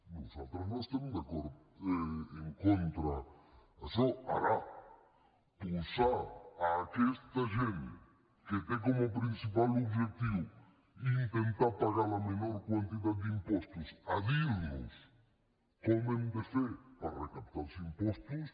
nosaltres no estem en contra d’això ara posar aquesta gent que té com a principal objectiu intentar pagar la menor quantitat d’impostos a dir nos com hem de fer per recaptar els impostos